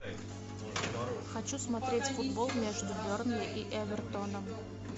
хочу смотреть футбол между бернли и эвертоном